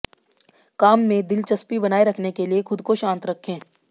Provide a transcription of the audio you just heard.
काम में दिलचस्पी बनाए रखने के लिए ख़ुद को शांत रखें